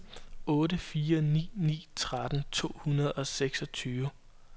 otte fire ni ni tretten to hundrede og seksogtyve